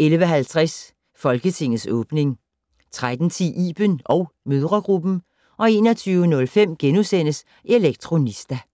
11:50: Folketingets åbning 13:10: Iben & mødregruppen 21:05: Elektronista *